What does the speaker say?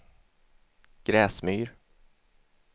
Gräsmyr